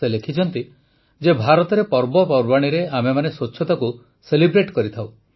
ସେ ଲେଖିଛନ୍ତି ଯେ ଭାରତରେ ପର୍ବପର୍ବାଣୀରେ ଆମେମାନେ ସ୍ୱଚ୍ଛତାକୁ ସେଲିବ୍ରେଟ୍ କରିଥାଉ